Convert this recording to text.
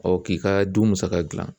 k'i ka du musaka gilan